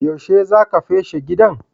Yaushe za ka feshi gidan?